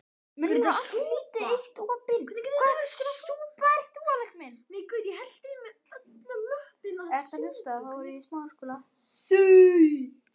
Munnurinn var lítið eitt opinn og hann hraut óreglulega.